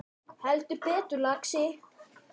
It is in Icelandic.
Heldur betur, lagsi